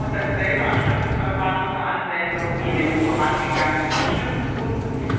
Es kommt dasselbe Abstimmungsverfahren zur Anwendung wie in den vorangegangenen Abstimmungsrunden.